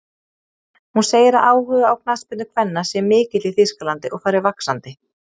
Hún segir að áhugi á knattspyrnu kvenna sé mikill í Þýskalandi og fari vaxandi.